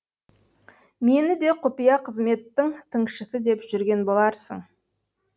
мені де құпия қызметтің тыңшысы деп жүрген боларсың